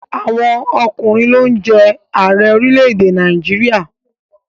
Àwọn ọkùnrin ló ń jẹ Ààrẹ orílẹ̀èdè Nàìjíríà